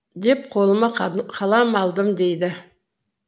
деп қолыма қалам алдым дейді